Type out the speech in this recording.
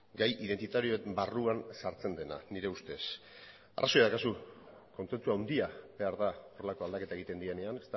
gai identitarioen barruan sartzen dela nire ustez arrazoia daukazu kontsentsu handia behar da horrelako aldaketak egiten direnean